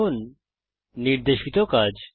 এখন নির্দেশিত কাজ